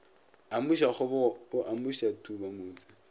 amuša kgobogo o amuša thubamotse